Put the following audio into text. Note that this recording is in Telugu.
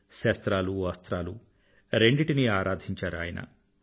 శస్త్రాలు అస్త్రాలు రెండిటినీ ఆరాధించారు ఆయన